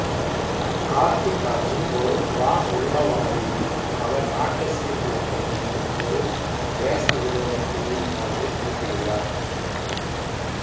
கார்த்திக் அர்ஜுன் ஒரு ரா உள்ளவாளி அவர் நாட்டை சீர்குலைக்க விரும்பும் ஒரு தேச விரோத குழுவின் பாதையில் குறுக்கிடுகிறார்